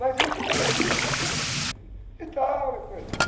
Mas isso... Né? E tal, e coisa e tal.